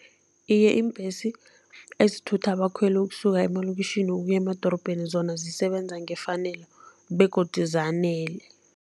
Iye, iimbhesi ezithutha abakhweli ukusuka emalokitjhini ukuya emadorobheni zona zisebenza ngefanelo begodu zanele.